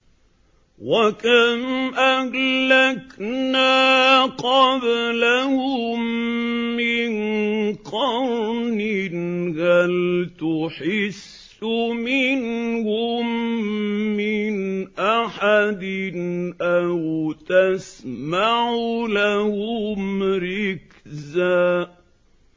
وَكَمْ أَهْلَكْنَا قَبْلَهُم مِّن قَرْنٍ هَلْ تُحِسُّ مِنْهُم مِّنْ أَحَدٍ أَوْ تَسْمَعُ لَهُمْ رِكْزًا